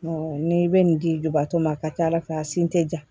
n'i bɛ nin di dubatɔ ma a ka ca ala fɛ a sin tɛ ja